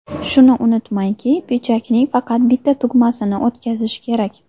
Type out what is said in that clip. Shuni unutmangki, pidjakning faqat bitta tugmasini o‘tkazish kerak.